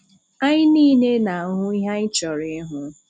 Anyị niile na-ahụ ihe anyị chọrọ ịhụ.